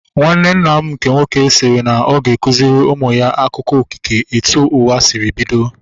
Nwanne nna m nke nwoke sịrị na ọ ga-akụziri ụmụ ya akụkọ okike etu ụwa sịrị bido